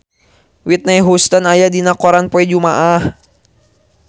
Whitney Houston aya dina koran poe Jumaah